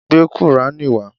Gbé qùrání wá.